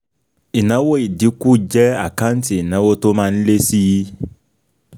Ìnáwó ìdínkù jẹ́ àkáǹtì ìnáwó tó má ń lé síi.